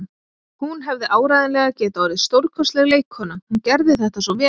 Hún hefði áreiðanlega getað orðið stórkostleg leikkona, hún gerði þetta svo vel.